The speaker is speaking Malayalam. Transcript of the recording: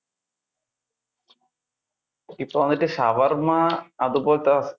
ഇപ്പൊ എന്നിട്ട് ഷവർമ അതുപോലത്തെ,